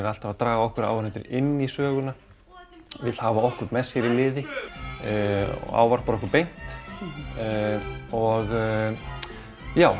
alltaf að draga okkur áhorfendur inn í söguna vill hafa okkur með sér í liði ávarpar okkur beint og já